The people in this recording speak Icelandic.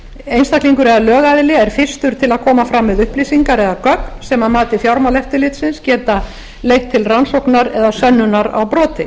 einstaklingur eða lögaðili er fyrstur til að koma fram með upplýsingar eða gögn sem að mati fjármálaeftirlitsins geta leitt til rannsóknar eða sönnunar á broti